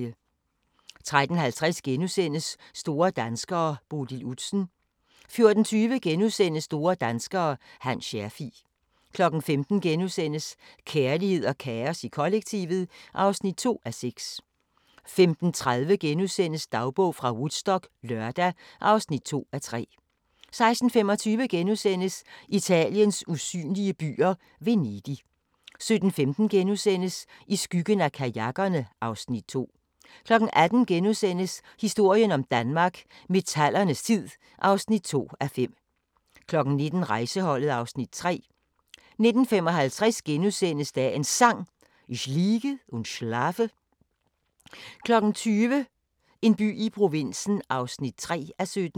13:50: Store danskere: Bodil Udsen * 14:20: Store danskere – Hans Scherfig * 15:00: Kærlighed og kaos i kollektivet (2:6)* 15:30: Dagbog fra Woodstock - lørdag (2:3)* 16:25: Italiens usynlige byer - Venedig * 17:15: I skyggen af kajakkerne (Afs. 2)* 18:00: Historien om Danmark: Metallernes tid (2:5)* 19:00: Rejseholdet (Afs. 3) 19:55: Dagens Sang: Ich liege und schlafe * 20:00: En by i provinsen (3:17)